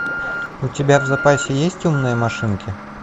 у тебя в запасе есть умные машинки